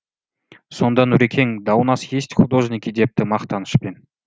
сонда нұрекең да у нас есть художники депті мақтанышпен